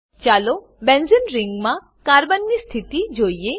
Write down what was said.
ચાલો બેન્ઝેને ring benzene ring માં કાર્બનની સ્થિતિ જોઈએ